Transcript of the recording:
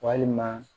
Walima